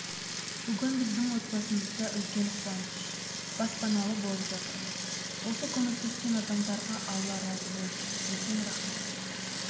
бүгін біздің отбасымызда үлкен қуаныш баспаналы болып жатырмыз осы көмектескен адамдарға алла разы болсын үлкен рақмет